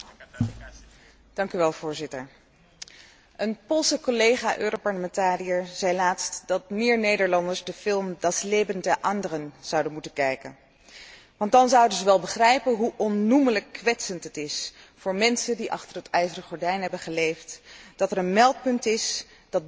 Een Poolse collega, Europarlementariër, zei laatst dat meer Nederlanders de film Das Leben der Anderen zouden moeten bekijken. Want dan zouden zij wel begrijpen hoe onnoemelijk kwetsend het is voor mensen die achter het ijzeren gordijn hebben geleefd, dat er een meldpunt is dat burgers oproept om te klikken over andere burgers.